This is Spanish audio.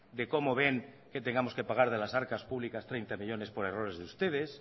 de cómo ven que tengamos que pagar de las arcas públicas treinta millónes por errores de ustedes